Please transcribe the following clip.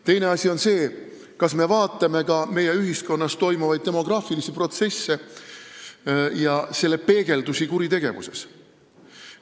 Teine asi on see, kas me vaatame ka meie ühiskonnas toimuvaid demograafilisi protsesse ja nende peegeldusi kuritegevuses.